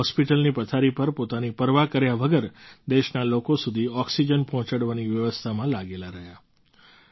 તેઓ હૉસ્પિટલની પથારી પર પોતાની પરવા કર્યા વગર દેશના લોકો સુધી ઑક્સિજન પહોંચાડવાની વ્યવસ્થામાં લાગેલા રહ્યા